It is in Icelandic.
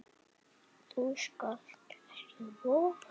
Þú skalt ekki voga þér!